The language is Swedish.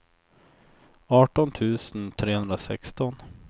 arton tusen trehundrasexton